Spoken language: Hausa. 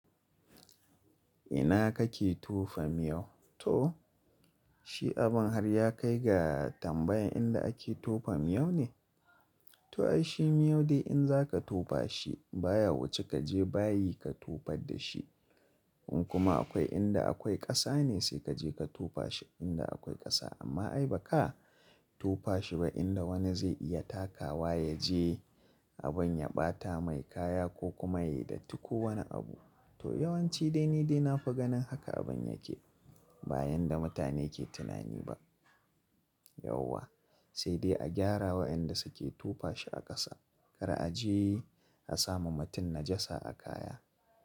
Ina kake tofa miyau? To shi abin har ya kai ga tambayan inda ake tofa miyau ne? To ai shi miyau dai in za ka tofa shi baya wuce kaje bayi ka tofar da shi. In kuma akwai inda akwai ƙasa ne sai kaje ka tofa shi inda akwai ƙasa. Amma ai baka tofa shi ba inda wani zai iya takawa yaje abun ya ɓata mai kaya ko kuma ya yi datti ko wani abu. To yawanci dai ni dai na fi ganin haka abin yake. Ba yanda mutane ke tunani ba. Yauwa sai dai a gyarawa inda suke tofa shi a ƙasa. Kar a je a sama mutun najasa a kaya.